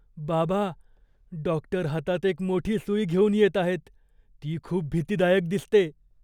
बाबा, डॉक्टर हातात एक मोठी सुई घेऊन येत आहेत. ती खूप भीतीदायक दिसते.